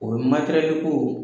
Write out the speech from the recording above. O ye materɛli ko